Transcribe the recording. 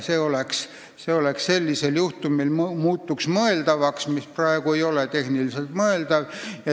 See muutuks sellisel juhul mõeldavaks, praegu ei ole see tehniliselt mõeldav.